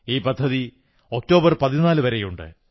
ഈ പദ്ധതി ഒക്ടോബർ 14 വരെയുണ്ട്